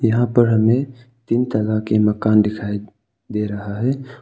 यहां पर हमें तीन तरह के मकान दिखाई दे रहा है।